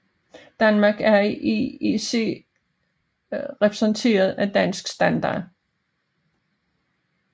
Danmark er i IEC repræsenteret af Dansk Standard